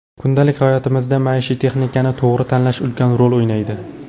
Kundalik hayotimizda maishiy texnikani to‘g‘ri tanlash ulkan rol o‘ynaydi.